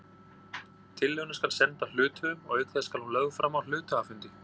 Tillöguna skal senda hluthöfum og auk þess skal hún lögð fram á hluthafafundi.